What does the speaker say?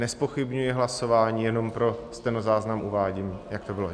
Nezpochybňuji hlasování, jenom pro stenozáznam uvádím, jak to bylo.